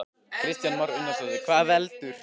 Kristján Már Unnarsson: Hvað veldur?